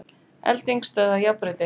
Elding stöðvaði járnbrautir